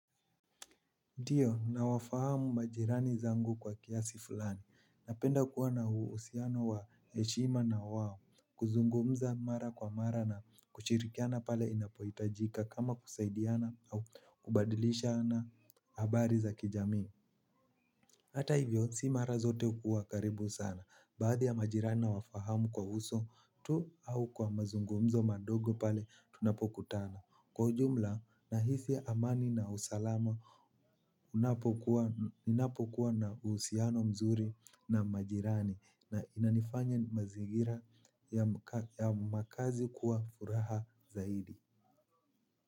Ndiyo, nawafahamu majirani zangu kwa kiasi fulani. Napenda kuwa na uhusiano wa heshima na wawo. Kuzungumza mara kwa mara na kushirikiana pale inapoitajika kama kusaidiana au kubadilishana habari za kijamii. Hata hivyo, si mara zote hukuwa karibu sana. Baadhi ya majirani na wafahamu kwa uso, tu au kwa mazungumzo madogo pale, tunapokutana. Kwa ujumla, nahisia amani na usalama, unapokuwa na uhusiano mzuri na majirani. Na inanifanya mazigira ya makazi kuwa furaha zaidi.